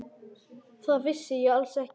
Það vissi ég alls ekki.